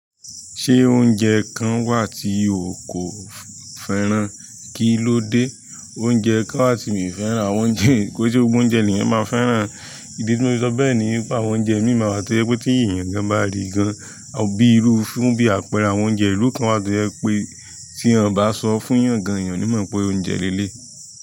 Ṣé oúnjẹ kan wà tí o kò fẹ́ràn? Kí ló dé? Oúnjẹ kan wà tí mi ò fẹ́ràn. Àwọn oúnjẹ, kò ṣe gbogbo oúnjẹ ni ènìyàn máa fẹ́ràn? Ìdí tí mo fi sọ bẹ́ẹ̀ ni pé àwọn oúnjẹ míì máa wà tí ó jẹ́ pé tí èèyàn gan bá rí gan-an bíi irú fún bí àpẹẹrẹ àwọn oúnjẹ ìlú kan wà tó jẹ́ pé tí wọ́n bá sọ fún èèyàn gan-an, èèyàn ni mọ̀ pé oúnjẹ líle èyí lẹ́yìí.